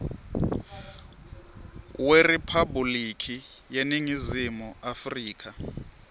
weriphabhulikhi yeningizimu afrika